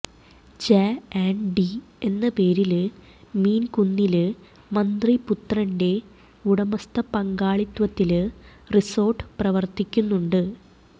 J and D എന്ന പേരില് മീന്കുന്നില് മന്ത്രിപുത്രന്റെ ഉടമസ്ഥ പങ്കാളിത്വത്തില് റിസോര്ട്ട് പ്രവര്ത്തിക്കുന്നുണ്ട്